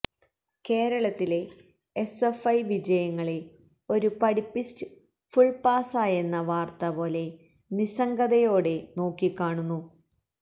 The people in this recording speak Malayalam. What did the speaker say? കേരളത്തിലെ എസ്എഫ്ഐ വിജയങ്ങളെ ഒരു പഠിപ്പിസ്റ്റ് ഫുൾ പാസായെന്ന വാർത്ത പോലെ നിസംഗതയോടെ നോക്കിക്കാണുന്നു